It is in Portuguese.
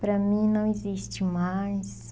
Para mim não existe mais.